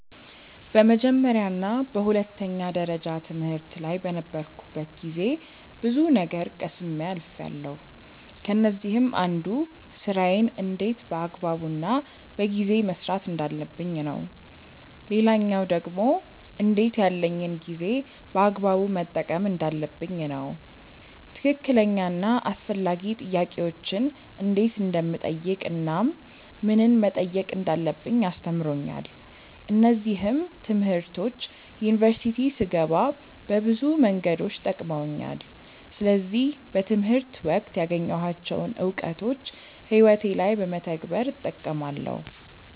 በመጀመርያ እና በሁለተኛ ደረጃ ትምህርት ላይ በነበርኩበት ጊዜ ብዙ ነገር ቀስሜ አልፍያለው። ከነዚህም አንዱ ስራዬን እንዴት በአግባቡ እና በጊዜ መስራት እንዳለብኝ ነው። ሌላኛው ደግሞ እንዴት ያለኝን ጊዜ በአግባቡ መጠቀም እንዳለብኝ ነው። ትክክለኛ እና አስፈላጊ ጥያቄዎችን እንዴት እንደምጠይቅ እናም ምንን መጠየቅ እንዳለብኝ አስተምሮኛል። እነዚህም ትምህርቶች ዩኒቨርሲቲ ስገባ በብዙ መንገዶች ጠቅመውኛል። ስለዚህ በትምህርት ወቅት ያገኘኋቸውን እውቀቶች ህይወቴ ላይ በመተግበር እጠቀማለው።